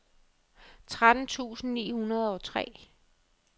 tretten tusind ni hundrede og tre